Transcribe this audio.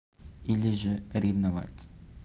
или же ревновать